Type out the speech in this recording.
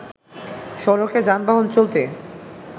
সড়কে যানবাহন চলতে